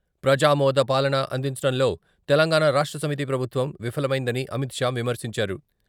ప్రజామోద పాలన అందించడంలో తెలంగాణ రాష్ట్ర సమితి ప్రభుత్వం విఫలమైందని అమిత్ షా విమర్శించారు.